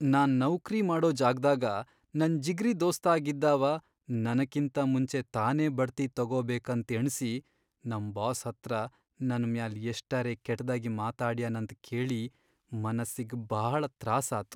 ನಾನ್ ನೌಕ್ರಿ ಮಾಡೋ ಜಾಗ್ದಾಗ ನನ್ ಜಿಗ್ರೀ ದೋಸ್ತಾಗಿದ್ದಾವ ನನಕಿಂತ ಮುಂಚೆ ತಾನೇ ಬಡ್ತಿ ತಕೋಬೇಕಂತ್ ಎಣ್ಸಿ ನಮ್ ಬಾಸ್ ಹತ್ರ ನನ ಮ್ಯಾಲ್ ಎಷ್ಟರೆ ಕೆಟ್ದಾಗ್ ಮಾತಾಡ್ಯಾನಂತ್ ಕೇಳಿ ಮನ್ಸಿಗ್ ಭಾಳ ತ್ರಾಸಾತು.